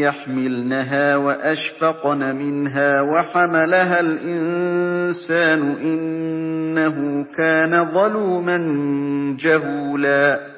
يَحْمِلْنَهَا وَأَشْفَقْنَ مِنْهَا وَحَمَلَهَا الْإِنسَانُ ۖ إِنَّهُ كَانَ ظَلُومًا جَهُولًا